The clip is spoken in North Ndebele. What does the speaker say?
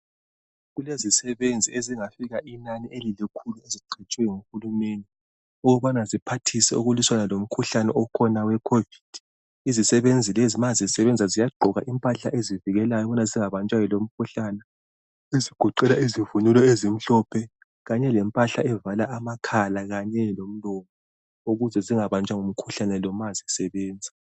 kulezisebenzi ezingafika inani elilikhulu ziqhatshwe ngu Hulumende ukubana ziphathisa ukuliswana lomkhuhlane okhona owekhovidi Izisebenzi lezi ma sezisebenza ziyagqoka impahla ezivikela ukubana zingabanjwa yilowo umkhuhlane ezigoqela izivunyulo ezimhlophe kanye lempahla evala amakhala kanye lomlomo ukuze zingabanjwa ngumkhuhlane lo ma sisebenza.